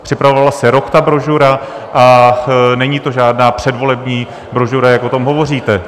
Připravovala se rok ta brožura a není to žádná předvolební brožura, jak o tom hovoříte.